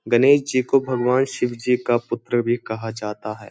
गणेश जी को भगवान शिव जी का पुत्र भी कहा जाता है।